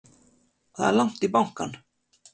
Það er langt í bankann!